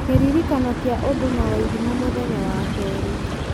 kĩririkano kĩa ũndũ na wairimũ mũthenya wa kerĩ